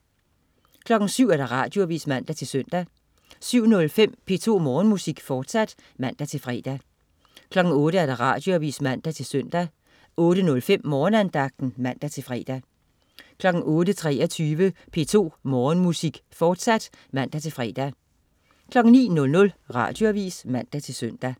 07.00 Radioavis (man-søn) 07.05 P2 Morgenmusik, fortsat (man-fre) 08.00 Radioavis (man-søn) 08.05 Morgenandagten (man-fre) 08.23 P2 Morgenmusik, fortsat (man-fre) 09.00 Radioavis (man-søn)